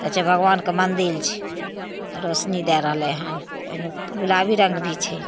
लागे छै भगवान के मंदिर छिये रोशनी दाय रहले हैन ए में गुलाबी रंग भी छै।